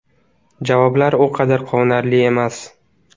Javoblar u qadar quvonarli emas.